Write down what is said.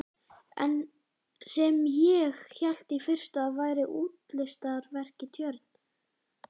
Sem ég hélt í fyrstu að væri útilistaverk í tjörn.